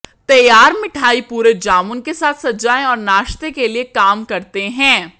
तैयार मिठाई पूरे जामुन के साथ सजाया और नाश्ते के लिए काम करते हैं